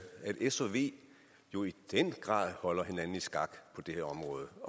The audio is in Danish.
at s og v jo i den grad holder hinanden i skak på det her område